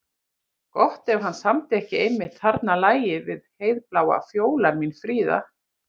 Gott ef hann samdi ekki einmitt þarna lagið við Heiðbláa fjólan mín fríða.